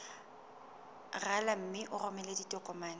rala mme o romele ditokomene